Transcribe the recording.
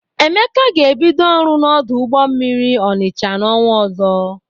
Emeka ga-ebido ọrụ n'ọdụ ụgbọ mmiri Ọnịcha n'ọnwa ọzọ.